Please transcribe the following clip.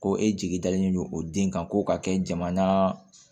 Ko e jigi dalen don o den kan ko ka kɛ jamana